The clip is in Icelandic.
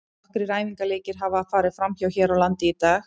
Nokkrir æfingaleikir hafa farið fram hér á landi í dag.